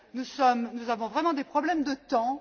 Nous avons vraiment des problèmes de temps.